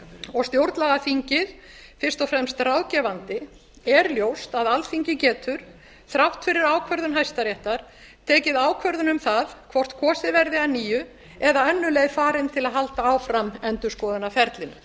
og stjórnlagaþingið fyrst og fremst ráðgefandi er ljóst að alþingi getur þrátt fyrir ákvörðun hæstaréttar tekið ákvörðun um það hvort kosið verði að nýju eða önnur leið farin til að halda áfram endurskoðunarferlinu